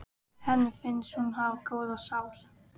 Henni finnst hún hafa góða sál.